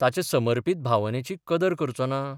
ताचे समर्पत भावनेची कदर करचो ना?